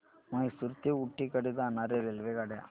म्हैसूर ते ऊटी कडे जाणार्या रेल्वेगाड्या